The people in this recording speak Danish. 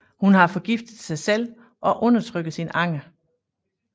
Hun har forgiftet sig selv og udtrykker sin anger